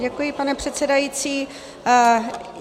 Děkuji, pane předsedající.